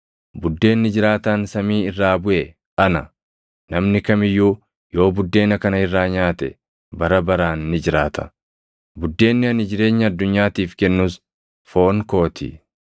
Buddeenni jiraataan samii irraa buʼe ana. Namni kam iyyuu yoo buddeena kana irraa nyaate bara baraan ni jiraata. Buddeenni ani jireenya addunyaatiif kennus foon koo ti.”